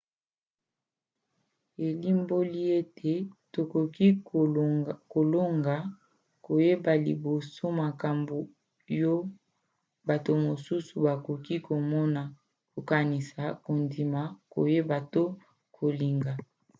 elimboli ete tokoki kolonga koyeba liboso makambo yo bato mosusu bakoki komona kokanisa kondima koyeba to kolinga